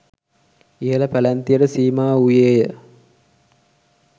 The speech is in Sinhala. ඉහළ පැලැන්තියට සීමා වූයේය.